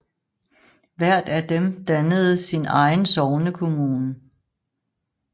Hvert af dem dannede sin egen sognekommune